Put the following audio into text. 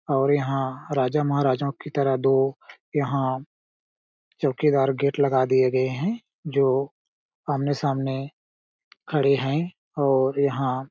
और यहाँ राजा -महाराजाओ की तरह दो यहाँ चौकीदार गेट लगा दिए गए है जो आमने-सामने खड़े है और यहाँ --